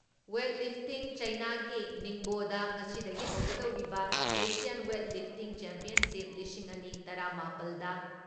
weight lifting ꯆꯥꯏꯅꯥꯒꯤ ꯅꯤꯡꯕꯣꯗ ꯉꯁꯤꯗꯒꯤ ꯍꯧꯒꯗꯧꯔꯤꯕ ꯑꯦꯁꯤꯌꯥꯟ ꯋꯦꯠ ꯂꯤꯐꯇꯤꯡ ꯆꯦꯝꯄꯤꯌꯟꯁꯤꯞ, ꯂꯤꯁꯤꯡ ꯑꯅꯤ ꯇꯔꯥ ꯃꯥꯄꯜꯗ